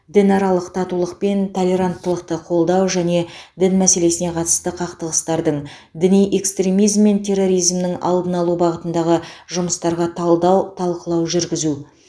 дінаралық татулық пен толеранттылықты қолдау және дін мәселесіне қатысты қақтығыстардың діни экстремизм мен терроризмнің алдын алу бағытындағы жұмыстарға талдау талқылау жүргізу